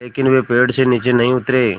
लेकिन वे पेड़ से नीचे नहीं उतरे